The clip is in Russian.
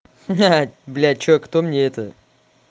ха-ха да блядь чувак кто мне это